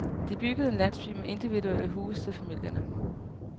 De byggede en landsby med individuelle huse til familierne.